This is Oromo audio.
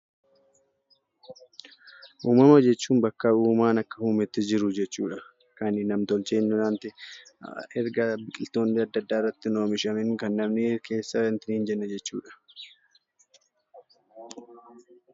Uumama jechuun bakka uumaan akka uumetti jiru jechuudha. Kan nam-tolchee erga biqiltoonni irratti hin oomishamiin kan namni itti hin jechuudha.